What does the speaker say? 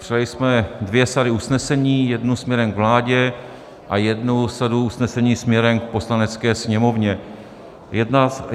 Přijali jsme dvě sady usnesení - jednu směrem k vládě a jednu sadu usnesení směrem k Poslanecké sněmovně.